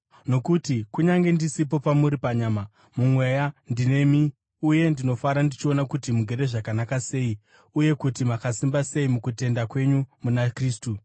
Nokuti kunyange ndisipo pamuri panyama, mumweya ndinemi uye ndinofara ndichiona kuti mugere zvakanaka sei uye kuti makasimba sei mukutenda kwenyu muna Kristu.